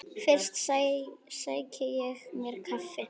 Fyrst sæki ég mér kaffi.